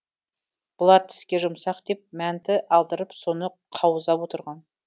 бұлар тіске жұмсақ деп мәнті алдырып соны қаузап отырған